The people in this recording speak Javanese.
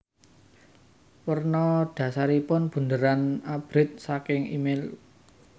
Werna dhasaripun bunderan abrit saking email